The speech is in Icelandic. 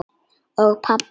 Og pabbi hló.